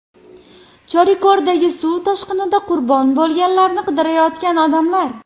Chorikordagi suv toshqinida qurbon bo‘lganlarni qidirayotgan odamlar.